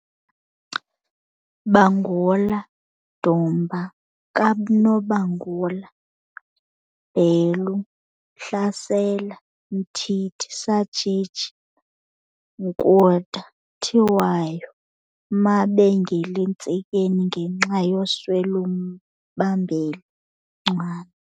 Bangula, Dumba kaNobangula, Bhelu, Hlasela, Mthithi, Sajiji, Nkunta, Khiwayo, Mabengel'entsikeni ngenxa yoswel'umbambeli, Ncwane.